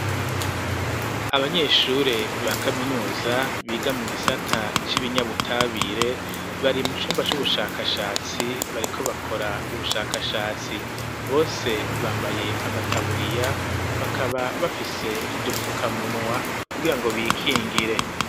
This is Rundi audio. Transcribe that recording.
Abanyeshure ba kaminuza biga mu gisata c'ibinyabutabire bari mu cumba c'ubushakashatsi bariko bakora ubushakashatsi bose bambaye amataburiya bakaba bafise n'udufukamunwa kugira ngo bikingire.